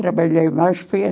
Trabalhei mais foi